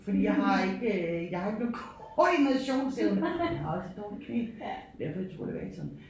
Fordi jeg har ikke jeg har ikke nogen koordinationsevne jeg har også et dårligt knæ derfor jeg tog elevatoren